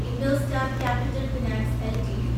IndoStar Capital Finance LTD